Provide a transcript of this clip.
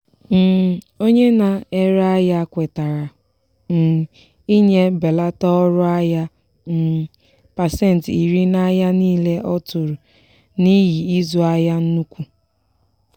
um onye na-ere ahịa kwetara um inye mbelata ọrụ ahịa um pasentị iri n'ahịa niile ọ tụrụ n'ihi izu ahịa n'ukwu.